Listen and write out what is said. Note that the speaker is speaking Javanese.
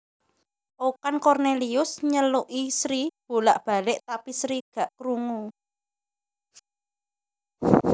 Okan Cornelius nyeluki Sri bolak balek tapi Sri gak krungu